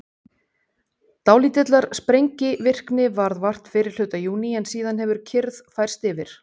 Dálítillar sprengivirkni varð vart fyrri hluta júní en síðan hefur kyrrð færst yfir.